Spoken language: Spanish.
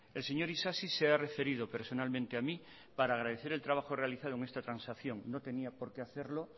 el señor isasi se ha referido personalmente a mí para agradecer el trabajo realizado en esta transacción no tenía por qué hacerlo